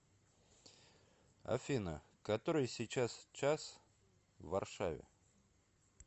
афина который сейчас час в варшаве